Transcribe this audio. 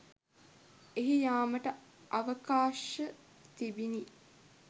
එහි යාමට අවකාශ තිිබිණි